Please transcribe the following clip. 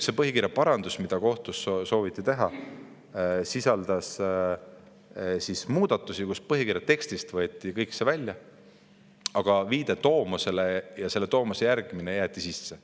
See põhikirja parandus, mida kohtus sooviti teha, sisaldas muudatusi, kus põhikirja tekstist võeti kõik see välja, aga viide tomosele ja selle tomose järgimine jäeti sisse.